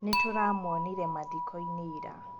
Nĩtũramuonire mathiko-inĩ ira